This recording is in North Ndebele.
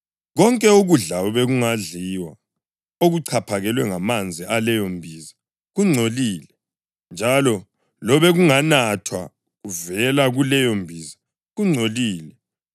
Konke ukudla obekungadliwa okuchaphakelwe ngamanzi aleyo mbiza kungcolile, njalo lobekunganathwa kuvela kuleyo mbiza kungcolile.